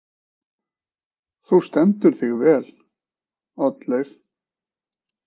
Þú stendur þig vel, Oddleif!